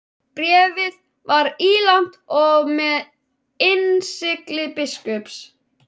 Bréfið var ílangt og með innsigli biskups.